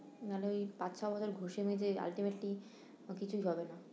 না হলে ওই পাঁচ ছ বছর ঘষে মেজে ultimately কিছুই হবে না